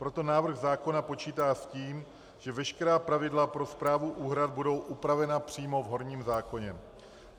Proto návrh zákona počítá s tím, že veškerá pravidla pro správu úhrad budou upravena přímo v horním zákoně.